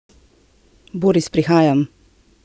Boris, prihajam!